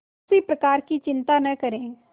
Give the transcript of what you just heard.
किसी प्रकार की चिंता न करें